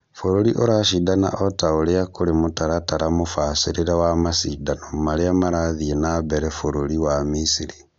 Bũrũri ũracindana ota ũria kũrĩ mũtaratara mũbacĩrĩre wa macindano marĩa marathiĩ na mbere Bũrũri wa Misiri